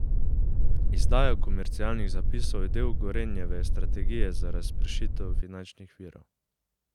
Izdaja komercialnih zapisov je del Gorenjeve strategije za razpršitev finančnih virov.